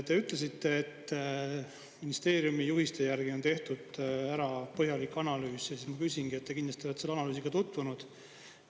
Te ütlesite, et ministeeriumi juhiste järgi on tehtud ära põhjalik analüüs, ja siis ma küsingi, et te kindlasti olete selle analüüsiga tutvunud.